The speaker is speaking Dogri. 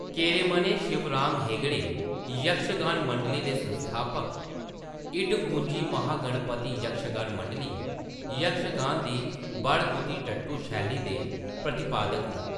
केरेमने शिवराम हेगड़े, यक्षगान मंडली दे संस्थापक, इडगुंजि महागणपति यक्षगान मंडली, यक्षगान दी बडगुतिट्टु शैली दे प्रतिपादक न।